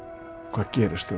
hvað gerist